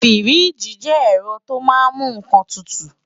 Fíríjì jẹ́ ẹ̀rọ tó máa ń mú nǹkan tutù